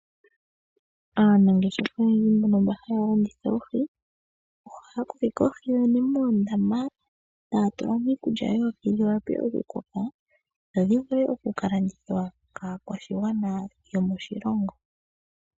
Aanangeshefa oyendji mbono haya landitha oohi, ohaya kokeke oohi yoyene moondama, taya tula mo iikulya oohi dhi wape okukoka, opo dhi vule oku ka landithwa kaakwashigwana yomoshilongo.